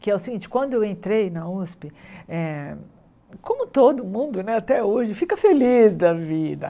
Que é o seguinte, quando eu entrei na Usp, eh como todo mundo até hoje, fica feliz da vida.